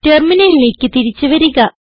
ടെർമിനലിലേക്ക് തിരിച്ചു വരിക